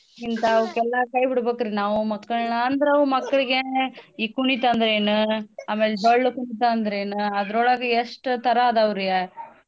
ಇಂತಾವಕ್ಕೆಲ್ಲಾ ಕೈಬಿಡ್ಬಕ್ರಿ ನಾವೂ ಮಕ್ಕಳ್ನ ಅಂದ್ರವು ಮಕ್ಕಳ್ಗೇ ಈ ಕುಣಿತ ಅಂದ್ರ ಏನ್ ಅಮೇಲ್ ಡೊಳ್ಳಕುಣಿತ ಅಂದ್ರ ಏನ್ ಅದ್ರೊಳಗ ಎಷ್ಟ್ ತರಾ ಅದಾವ್ರಿ.